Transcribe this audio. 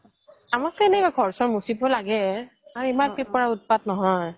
আমাকতো এনে ঘৰ চৰ মোচিব লাগে আৰু ইমান পিপৰাৰ উত্পাত নহয়